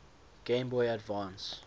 game boy advance